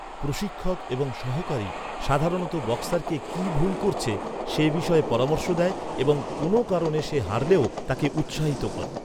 প্রশিক্ষক এবং সহকারী সাধারণত বক্সারকে কী ভুল করছে সে বিষয়ে পরামর্শ দেয় এবং কোনও কারণে সে হারলেও তাকে উত্সাহিত করে।